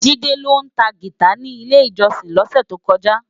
Jide ló tá gitá ni ilé-ijòsin lòsè tókòjá